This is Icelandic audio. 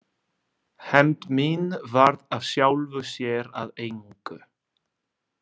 Hefnd mín varð af sjálfu sér að engu.